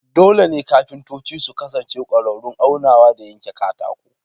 Dole ne kafintoci su kasance ƙwararrun aunawa da yanke katako.